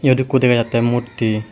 iyot ekku dega jatte murti.